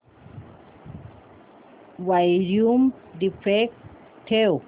volume default ठेव